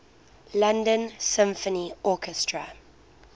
london symphony orchestra